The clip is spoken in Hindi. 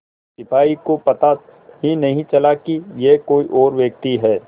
सिपाही को पता ही नहीं चला कि यह कोई और व्यक्ति है